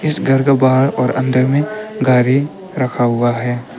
इस घर का बाहर और अंदर में गाड़ी रखा हुआ है।